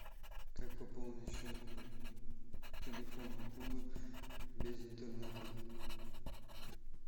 как пополнить счет телефона друга без интернета